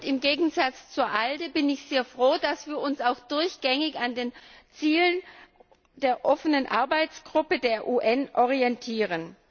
Im Gegensatz zur ALDE bin ich sehr froh darüber, dass wir uns auch durchgängig an den Zielen der offenen Arbeitsgruppe der UN orientieren.